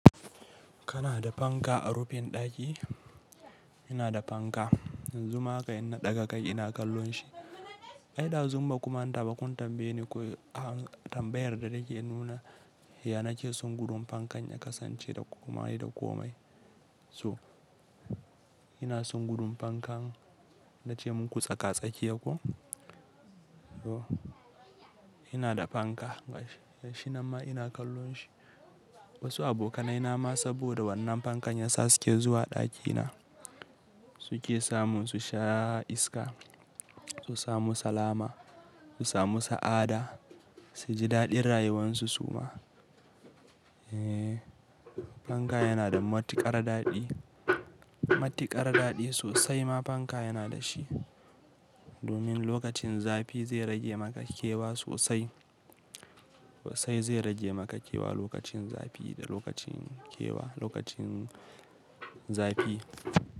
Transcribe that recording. Kana da fanka a rufin ɗaki? Ina da panka, yanzu ma haka in na ɗaga kai ina kallon shi. Ai da zumbaku manta ba kun tambaye ni ko tambayar da nake nuna, ya na keson gudun pankan ya kasance da komai da komai. To ina son gudun pankan na ce muku tsaka-tsakiya ko? So ina da panka gashi nan ma ina kallon shi. Wasu abokanai na ma saboda wannan pankan ya sa su ke zuwa ɗaki na. Su ke samun su sha iska, su samu salama, su samu sa'a da su ji daɗin rayuwan su suma. Eee panka yana da matuƙar daɗi. Matuƙar daɗi sosai ma panka yana da shi. Domin lokacin zafi zai rage maka kewa sosai. Sosai zai rage maka kewa lokacin zafi da lokacin kewa, lokacin zafi.